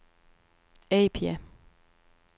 Apia